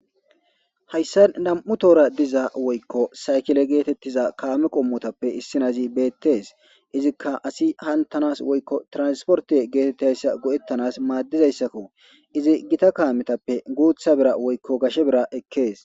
Hays namu'tohora diza woykko saykile getetizays kame qomotappe issoy bettes,izika assi hantanes tranpoarte getetizaysa goe'tanas madidaysako izi gita kameppe guththa bira woykko gashe bira ekkes